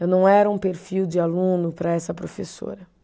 Eu não era um perfil de aluno para essa professora.